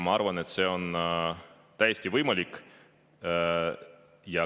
Ma arvan, et see on täiesti võimalik.